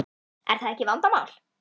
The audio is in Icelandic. Er það ekki vandamál?